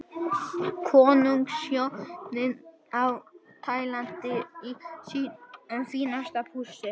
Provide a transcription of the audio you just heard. Konungshjónin á Tælandi í sínu fínasta pússi.